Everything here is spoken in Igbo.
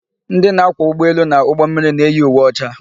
Ndị na-akwọ ụgbọelu na ụgbọmmiri na-eyi uwe ọcha.